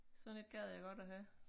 Sådan et gad jeg godt at have